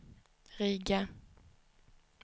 Riga